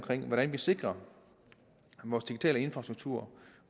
hvordan vi sikrer vores digitale infrastruktur